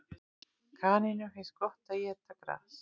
Kanínum finnst gott að éta gras.